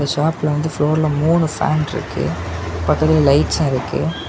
டாப்ல வந்துட்டு ஃப்ளோர்ல மூணு ஃபேன் இருக்கு பாத்தீங்கன்னா லைட்சும் இருக்கு.